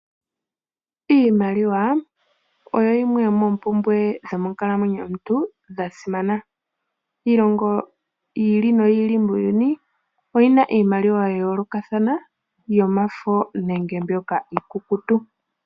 Iimaliwa oyo yimwe yomoompumbwe dhomonkalamwenyo yomuntu dhasimana. Iilongo yi ili noyi ili muuyuni oyina iimaliwa yayoolokathana yamafo nenge mbyoka iikukutu.